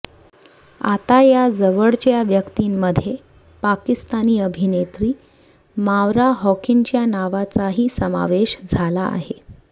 आता या जवळच्या व्यक्तींमध्ये पाकिस्तानी अभिनेत्री मावरा होकेनच्या नावाचाही समावेश झाला आहे